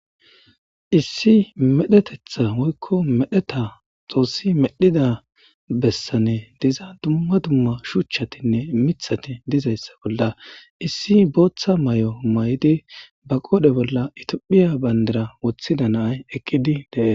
issi medhetetha woykko medheta xoossi medhida bessane diza dumma dumma shuchchatinne mithati dizayssa bolla issi booththa may7o may7di ba qoodhe bolla itophiya bayndara woththida naay ekkidi deee